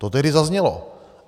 To tehdy zaznělo.